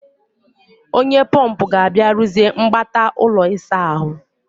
Onye pọmpụ ga-abịa rụziee mgbata ụlọ ịsa ahụ